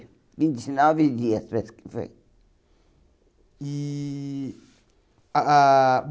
Vinte e nove dias parece que foi. E ah ah